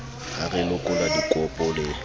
ha re lekola dikopo le